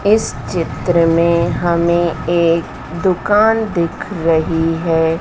इस चित्र में हमें एक दुकान दिख रही है।